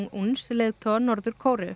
uns leiðtoga Norður Kóreu